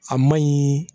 A maɲi